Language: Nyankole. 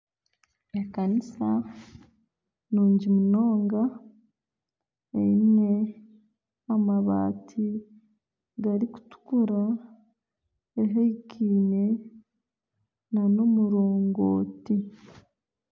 Ekanisa nungi munonga, eine amabati garikutuukura ehikaine nana omurongoti